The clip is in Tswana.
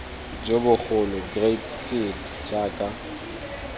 jo bogolo great seal jaaka